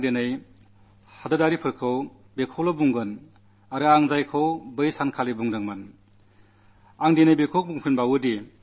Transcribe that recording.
അതുകൊണ്ട് ഞാൻ എന്റെ ദേശവാസികളോട് അന്നു പറഞ്ഞതുതന്നെ ആവർത്തിക്കാനാഗ്രഹിക്കുന്നു ആ സംഭവത്തിലെ കുറ്റവാളികൾ ശിക്ഷിക്കപ്പെടുകതന്നെ ചെയ്യും